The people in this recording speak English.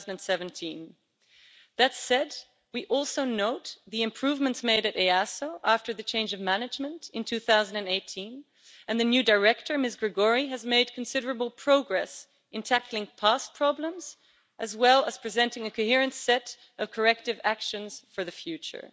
2017. That said, we also note the improvements made at EASO after the change of management in 2018, and the new director, Ms Gregori, has made considerable progress in tackling past problems, as well as presenting a coherent set of corrective actions for the future.